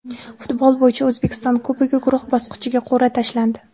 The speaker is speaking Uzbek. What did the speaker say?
Futbol bo‘yicha O‘zbekiston Kubogi guruh bosqichiga qur’a tashlandi.